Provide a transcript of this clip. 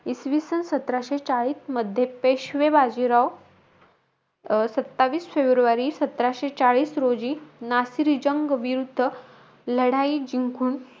इसवीसन सतराशे चाळीस मध्ये, पेशवे बाजीराव अं सत्तावीस फेब्रुवारी सतराशे चाळीस रोजी, नासिर जंग विरुद्ध लढाई जिंकून,